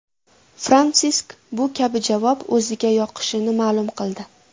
Fransisk bu kabi javob o‘ziga yoqishini ma’lum qildi.